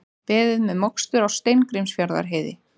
Beðið með mokstur á Steingrímsfjarðarheiði